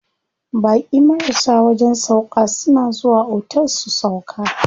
Baƙi marasa wajen sauƙa suna zuwa otel su sauƙa.